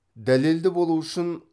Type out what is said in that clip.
дәлелді болуы үшін